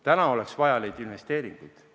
Täna oleks neid investeeringuid vaja.